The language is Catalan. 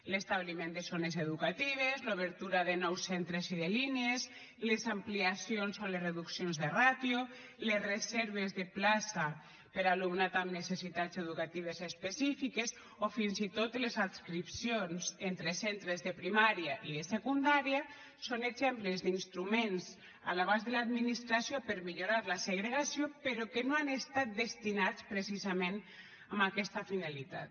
l’establiment de zones educatives l’obertura de nous centres i de línies les ampliacions o les reduccions de ràtio les reserves de plaça per a alumnat amb necessitats educatives específiques o fins i tot les adscripcions entre centres de primària i de secundària són exemples d’instruments a l’abast de l’administració per millorar la segregació però que no han estat destinats precisament a aquesta finalitat